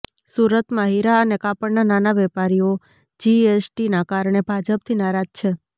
સુરતમાં હીરા અને કાપડના નાના વેપારીઓ જીએસટીના કારણે ભાજપથી નારાજ છે